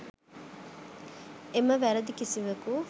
එම වැරදි කිසිවකු